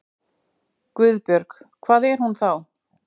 GUÐBJÖRG: Hvar er hún þá?